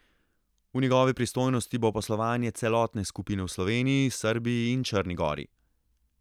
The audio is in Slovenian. V njegovi pristojnosti bo poslovanje celotne skupine v Sloveniji, Srbiji in Črni gori.